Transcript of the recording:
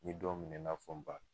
N mi dɔw minɛ i n'a fɔ n ba